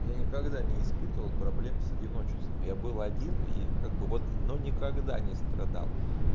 я никогда не испытывал проблем с одиночеством я был один и как бы вот но никогда не страдал